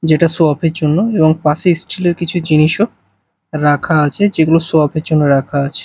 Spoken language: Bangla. যেটা শো অফ -এর জন্য এবং পাশে স্টিল -এর কিছু জিনিসও রাখা আছে যেগুলো শো অফ -এর জন্য রাখা আছে।